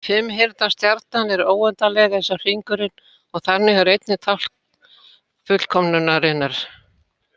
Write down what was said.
Fimmhyrnda stjarnan er óendanleg eins og hringurinn og þannig einnig tákn fullkomnunarinnar.